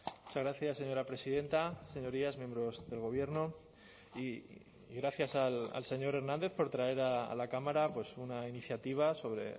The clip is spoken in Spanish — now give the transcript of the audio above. muchas gracias señora presidenta señorías miembros del gobierno y gracias al señor hernández por traer a la cámara pues una iniciativa sobre